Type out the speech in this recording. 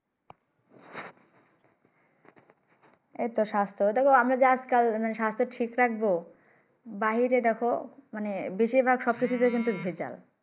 এইতো স্বাস্থ্য দেখো আমরা যে আজকাল স্বাস্থ্য ঠিক রাখবো বাহিরে দেখো মানে বেশিরভাগ সবকিছুতেই কিন্তু ভেজাল